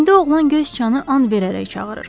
İndi oğlan göy siçanı an verərək çağırır.